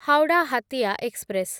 Howrah Hatia express